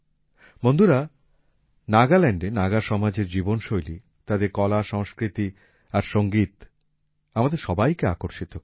বন্ধুরা নাগাল্যান্ডএ নাগা সমাজ এর জীবনশৈলী তাদের কলাসংস্কৃতি আর সংগীত আমাদের সবাইকে আকর্ষিত করে